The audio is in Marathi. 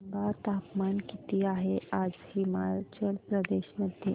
सांगा तापमान किती आहे आज हिमाचल प्रदेश मध्ये